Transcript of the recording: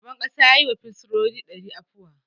Shugaban ƙasa ya yi wa firsinoni dari afuwa.